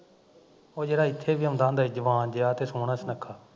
ਉਹ ਜਿਹੜਾ ਇੱਥੇ ਵੀ ਆਉਂਦਾ ਹੁੰਦਾ ਸੀ ਜਵਾਨ ਜਿਹਾ ਤੇ ਸੋਹਣਾ ਸੁਣੱਖਾ